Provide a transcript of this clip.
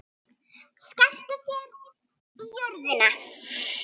Skelltu þér í röðina.